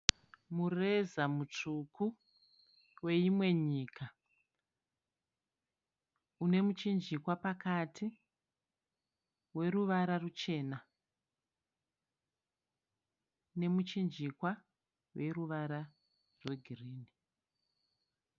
Mureza mutsvuku weyimwe nyika, une muchinjikwa pakati weruvara ruchena nemuchinjikwa weruvara rwegirini.